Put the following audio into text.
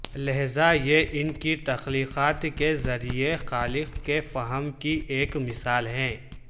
لہذا یہ ان کی تخلیقات کے ذریعے خالق کے فہم کی ایک مثال ہے